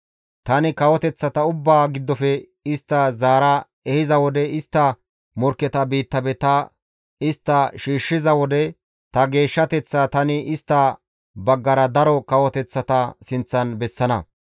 Tani kawoteththata ubbaa giddofe istta zaara ehiza wode, istta morkketa biittafe ta istta shiishshiza wode, ta geeshshateththaa tani istta baggara daro kawoteththata sinththan bessana.